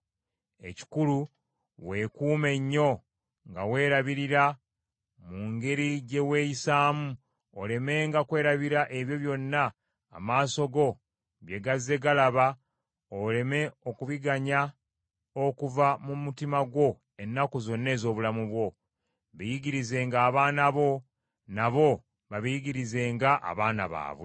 “Ekikulu, weekuume nnyo nga weerabirira mu ngeri gye weeyisaamu, olemenga kwerabira ebyo byonna amaaso go bye gazze galaba oleme okubiganya okuva mu mutima gwo ennaku zonna ez’obulamu bwo. Biyigirizenga abaana bo, nabo babiyigirizenga abaana baabwe.